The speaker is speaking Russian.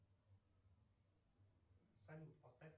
салют поставь